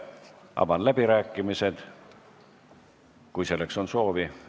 Avan läbirääkimised, kui selleks on soovi.